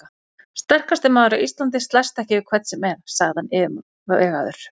Sterkasti maður á Íslandi slæst ekki við hvern sem er, sagði hann yfirvegaður.